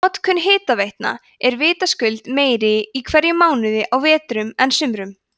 notkun hitaveitna er vitaskuld meiri í hverjum mánuði á vetrum en sumrum